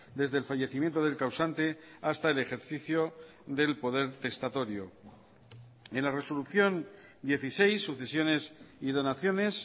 desde el fallecimiento del causante hasta el ejercicio del poder testatorio en la resolución dieciséis sucesiones y donaciones